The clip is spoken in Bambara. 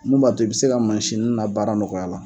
Mun b'a to i bɛ se ka mansini na baara nɔgɔya la.